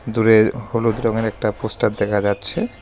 দূরে হলুদ রঙের একটা পোস্টার দেখা যাচ্ছে।